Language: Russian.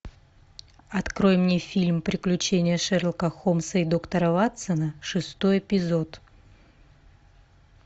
открой мне фильм приключения шерлока холмса и доктора ватсона шестой эпизод